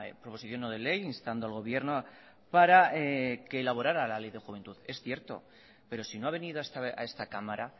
proposición no de ley instando al gobierno para que elaborara la ley de juventud es cierto pero si no ha venido a esta cámara